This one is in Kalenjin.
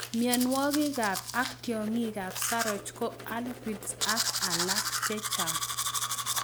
Mionwokikab ak tiongikab saroch ko aphids ak alak chechang'.